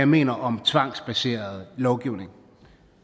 mener om tvangsbaseret lovgivning